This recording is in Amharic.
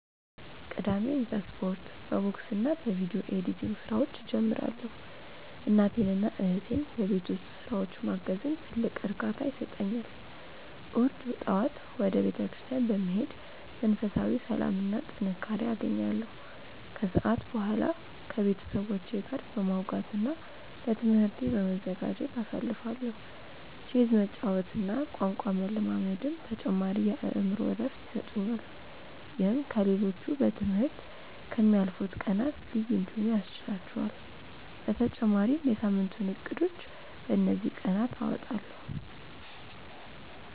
ቅዳሜን በስፖርት፣ በቦክስና በቪዲዮ ኤዲቲንግ ስራዎች እጀምራለሁ። እናቴንና እህቴን በቤት ውስጥ ስራዎች ማገዝም ትልቅ እርካታ ይሰጠኛል። እሁድ ጠዋት ወደ ቤተክርስቲያን በመሄድ መንፈሳዊ ሰላምና ጥንካሬ አገኛለሁ፤ ከሰዓት በኋላ ከቤተሰቦቼ ጋር በማውጋትና ለትምህርቴ በመዘጋጀት አሳልፋለሁ። ቼዝ መጫወትና ቋንቋ መለማመድም ተጨማሪ የአእምሮ እረፍት ይሰጡኛል። ይህም ከ ሌሎቹ በ ትምህርት ከ ምያልፉት ቀናት ልዩ እንዲሆኑ ያስችህላቹአል በተጨማሪም የ ሳምንቱን እቅዶችን በ እንዚህ ቀናት አወጣለሁ።